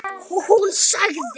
Hún sagði: